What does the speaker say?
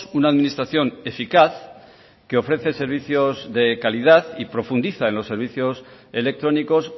una administración eficaz que ofrece servicios de calidad y profundiza en los servicios electrónicos